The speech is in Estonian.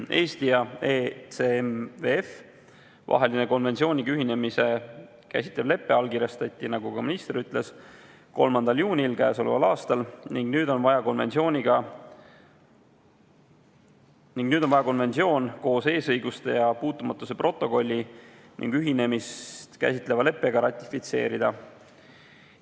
Eesti ja ECMWF-i vaheline konventsiooniga ühinemist käsitlev lepe allkirjastati, nagu ka minister ütles, k.a 3. juunil, ning nüüd on vaja konventsioon koos eesõiguste ja puutumatuse protokolli ning ühinemist käsitleva leppega ratifitseerida.